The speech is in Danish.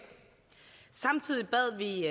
samtidig bad vi